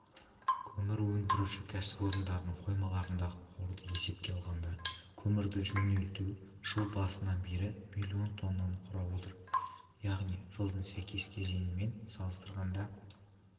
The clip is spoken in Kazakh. көмір өндіруші кәсіпорындардың қоймаларындағы қорды есепке алғанда көмірді жөнелту жыл басынан бері миллион тоннаны құрап отыр яғни жылдың сәйкес кезеңімен салыстырғанда